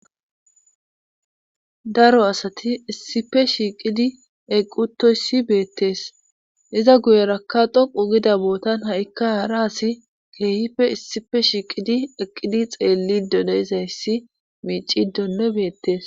daro asati issipe shiiqidi eqqi utoyssi beettees iza guyerakka dhoqu gida bootan ha'ikka haara asi keehipfe issife shiiqidi eqqidi xeellido dee'izayssi miicidonno beettees